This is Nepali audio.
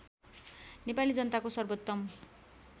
नेपाली जनताको सर्वोत्तम